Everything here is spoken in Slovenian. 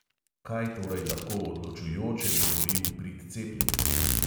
Kaj torej lahko odločujoče govori v prid cepljenju?